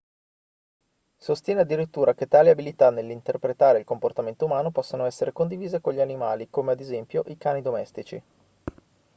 sostiene addirittura che tali abilità nell'interpretare il comportamento umano possano essere condivise con gli animali come ad esempio i cani domestici